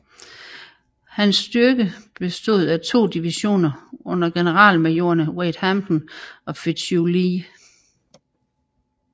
Hans styrke bestod af to divisioner under generalmajorerne Wade Hampton og Fitzhugh Lee